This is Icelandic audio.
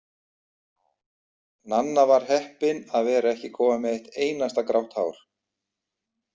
Nanna var heppin að vera ekki komin með eitt einasta grátt hár.